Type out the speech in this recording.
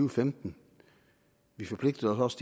og femten vi forpligtede os